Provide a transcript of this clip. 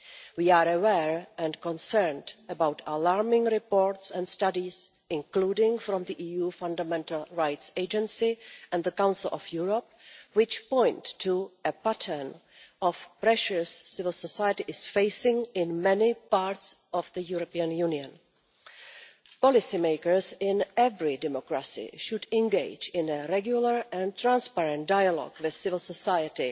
We are aware and concerned about alarming reports and studies, including from the EU Fundamental Rights Agency and the Council of Europe, which point to a pattern of pressures civil society is facing in many parts of the European Union. Policymakers in every democracy should engage in a regular and transparent dialogue with civil society